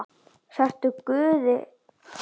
Sértu guði falin.